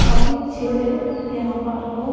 काफी अच्छे से यहां पार्क को--